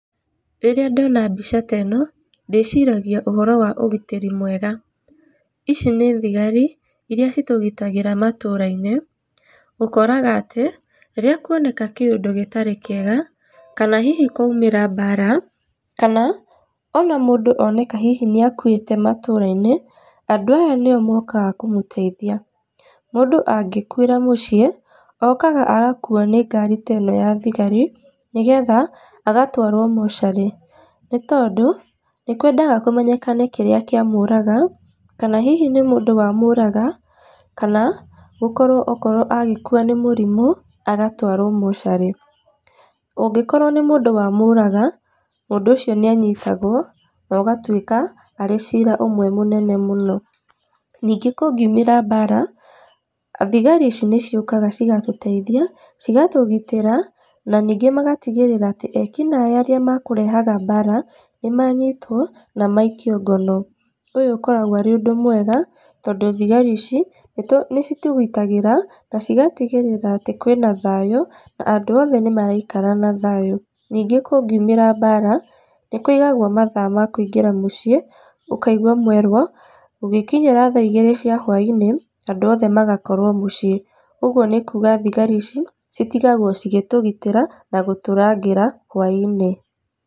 Rĩrĩa ndona mbica ta ĩno, ndĩciragia ũhoro wa ũgitĩri mwega. Ici nĩ thigari iria citũgitagĩra matũra-inĩ. Ũkoraga atĩ, rĩrĩa kũoneka kĩũndũ gĩtarĩ kĩega kana hihi kwaumĩra mbara kana ona mũndũ oneka hihi nĩ akuĩte matũra-inĩ andũ aya nĩo mokaga kũmũteithia. Mũndũ angĩkuĩra mũciĩ, okaga agakuo nĩngari teno ya thigari nĩgetha agatwarwo mortuary nĩ tondũ nĩkwenda kũmenyekane kĩrĩa kĩa mũraga kana hihi nĩ mũndũ wamũraga kana gũkorwo okorwo agĩkua nĩ mũrimũ agatwarwo mortuary. ũngĩkorwo nĩ mũndũ wa mũraga, mũndũ ũcio nĩ anyitagwo no ũgatuĩka arĩ cira ũmwe mũnene mũno. Ningĩ kũngĩumĩra mbara thigari ici nĩ ciũkaga cigatũteithia cigatũgitĩra na ningĩ magatigĩrĩra atĩ ekinaĩ arĩa makũrehaga mbara nĩmanyitwo na maikio ngono. Ũyũ ũkoragwo arĩ ũndũ mwega tondũ thigari ici nĩcitũgitagĩra na cigatigĩrĩra atĩ kwĩna thayu na andũ othe nĩmaraikara na thayũ. Ningĩ kũngiũmĩra mbara nĩkũigagwo matha makũingĩra mũciĩ, ũkaigua mwerwo, gũgĩkinyara tha igĩrĩ cia hũainĩ andũ othe magakorwo mũciĩ, ũguo nĩ kũga thigari ici citigagwo cigĩtũgitĩra na gũtũrangĩra hũainĩ.